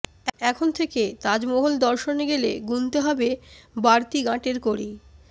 এখন থেকে তাজমহল দর্শনে গেলে গুনতে হবে বাড়তি গাঁটের কড়ি